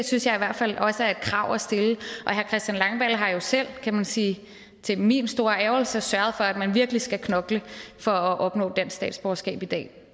synes jeg i hvert fald også er et krav at stille og herre christian langballe har jo selv kan man sige til min store ærgrelse sørget for at man virkelig skal knokle for at opnå dansk statsborgerskab i dag